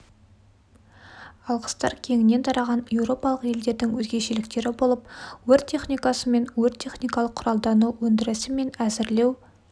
алғыстар кеңінен тараған еуропалық елдердің өзгешіліктері болып өрт техникасы мен өрт-техникалық құралдану өндірісі мен әзірлеу